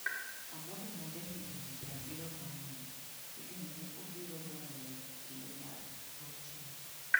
Ababu, ma jahigini 74, igeno ni obiro dwaro loch e kinde mar auchiel.